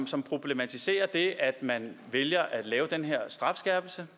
som problematiserer at man vælger at lave den her strafskærpelse